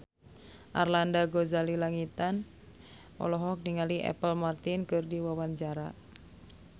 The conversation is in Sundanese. Arlanda Ghazali Langitan olohok ningali Apple Martin keur diwawancara